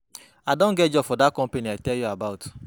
I don get job for dat company I tell you about.